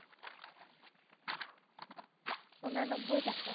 উননব্বই টাকা।